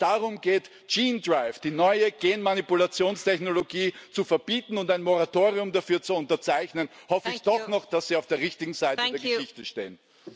Wenn es darum geht, gene drive die neue Genmanipulationstechnologie, zu verbieten und ein Moratorium dafür zu unterzeichnen, hoffe ich doch noch, dass Sie auf der richtigen Seite der Geschichte stehen.